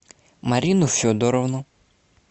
марину федоровну